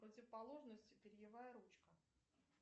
противоположность перьевая ручка